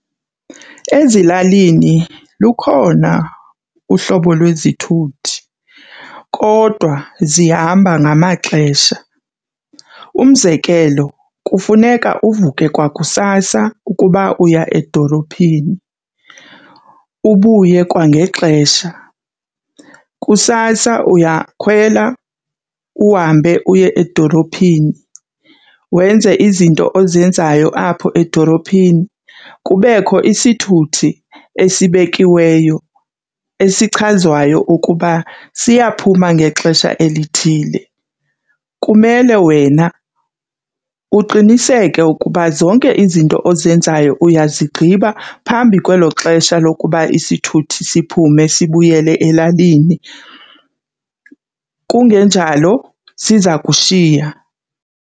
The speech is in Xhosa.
Ezilalini lukhona uhlobo lwezithuthi kodwa zihamba ngamaxesha. Umzekelo kufuneka uvuke kwakusasa ukuba uya edolophini ubuye kwangexesha. Kusasa uyakhwela uhambe uye edolophini, wenze izinto ozenzayo apho edolophini. Kubekho isithuthi esibekiweyo esichazwayo ukuba siyaphuma ngexesha elithile. Kumele wena uqiniseke ukuba zonke izinto ozenzayo uyazigqiba phambi kwelo xesha lokuba isithuthi siphume sibuyele elalini, kungenjalo siza kushiya.